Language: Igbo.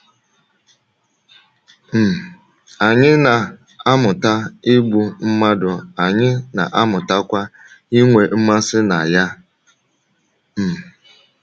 um Anyị na - amụta igbu mmadụ, anyị na - amụtakwa inwe mmasị na ya. ” um